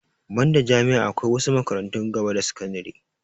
Banda jami'a akwai wasu makarantun gaba da sakandire